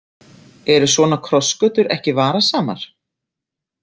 Eru svona krossgötur ekki varasamar?